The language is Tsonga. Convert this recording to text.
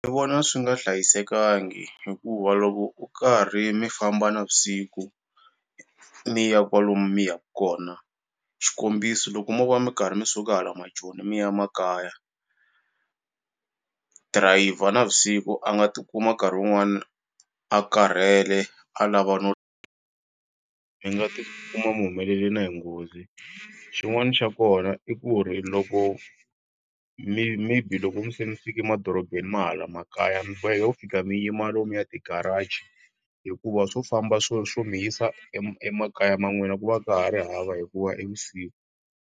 Ni vona swi nga hlayisekangi hikuva loko u karhi mi famba na vusiku mi ya kwalomu mi ya ku kona xikombiso loko mo va mi karhi mi suka hala Majoni mi ya makaya dirayivha navusiku a nga ti kuma nkarhi wun'wana a karhele a lava no mi nga ti kuma mi humelele na hi nghozi xin'wani xa kona i ku ri loko mi maybe loko se mi fike madorobeni ma hala makaya mi boheka ku fika mi yima lo mu ya ti garage hikuva swo famba swo swo mi yisa emakaya ma n'wina ku va ka ha ri hava hikuva i vusiku.